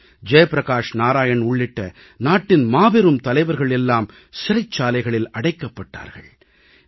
ஜெய்பிரகாஷ் நாராயண் உள்ளிட்ட நாட்டின் மாபெரும் தலைவர்கள் எல்லாம் சிறைச்சாலைகளில் அடைக்கப்பட்டனர்